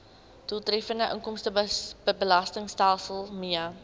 doeltreffende inkomstebelastingstelsel mee